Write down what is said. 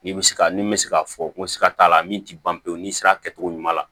Ni bɛ se ka min bɛ se k'a fɔ n ko siga t'a la min tɛ ban pewu n'i sera kɛ cogo ɲuman na